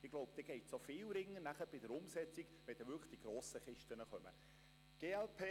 Ich glaube, so wird es auch bei der Umsetzung viel rascher gehen, dann, wenn die wirklich grossen «Kisten» kommen.